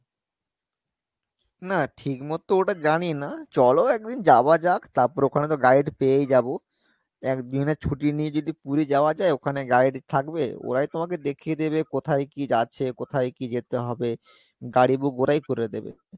না ঠিক মতো ওটা জানিনা চলো একদিন যাওয়া যাক তারপরে ওখানে তো guide পেয়েই যাবো একদিনের ছুটি নিয়ে যদি পুরি যাওয়া যাই ওখানে guide থাকবে ওরাই তোমাকে দেখিয়ে দেবে কোথায় কী আছে কোথায় কী যেতে হবে গাড়ি book ওরাই করে দেবে